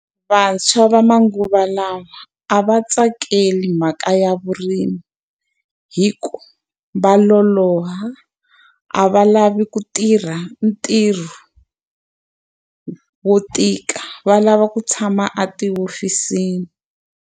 Vantshwa va manguva lawa a va tsakeli mhaka ya vurimi hikuva va loloha, a va lavi ku tirha ntirho wo tika. Va lava ku tshama etihofisini.